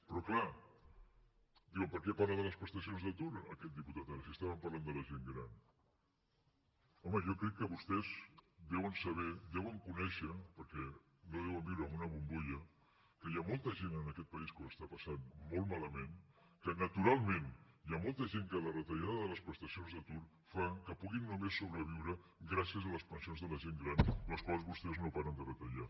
però clar diuen per què parla de les prestacions d’atur aquest diputat ara si estàvem parlant de la gent gran home jo crec que vostès deuen saber deuen conèixer perquè no deuen viure en una bombolla que hi ha molta gent en aquest país que ho està passant molt malament que naturalment hi ha molta gent per a qui la retallada de les prestacions d’atur fa que puguin només sobreviure gràcies a les pensions de la gent gran les quals vostès no paren de retallar